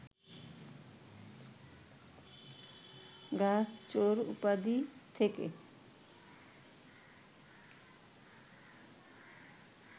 গাছ চোর উপাধি থেকে